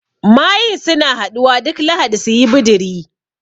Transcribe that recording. Mayun suna haɗuwa duk lahadi suyi bidiri